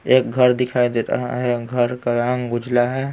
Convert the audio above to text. एक घर दिखाई दे रहा है घर का रंग उजला है।